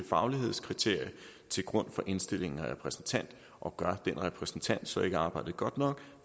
faglighedskriterie til grund for indstillingen af en repræsentant og gør den repræsentant så ikke arbejdet godt nok